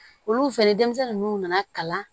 Olu fɛnɛ denmisɛnnin ninnu nana kalan